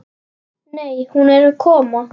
Nei, hún er að koma.